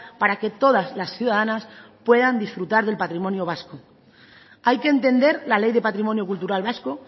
para que todas las ciudadanas puedan disfrutar del patrimonio vasco hay que entender la ley de patrimonio cultural vasco